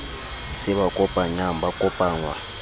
se ba kopanyang ba kopangwa